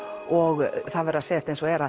og það verður að segjast eins og er